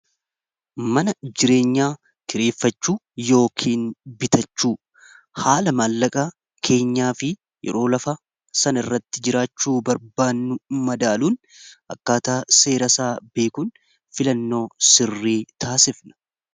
mana jireenyaa kireeffachuu yookiin bitachuu haala maallaqa keenyaa fi yeroo lafa sana irratti jiraachuu barbaannu madaaluun akkaataa seera isaa beekuun filannoo sirrii taasifna